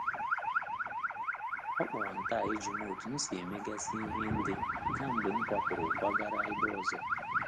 O kpọrọ m taa ijụm otu m si e megasi ihe nde kamgbe m kwapuru kwagara ebe ọzọ.